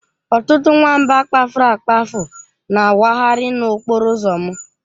Ọtụtụ nwamba kpafuru akpafu na-awagharị n'okporo ụzọ m.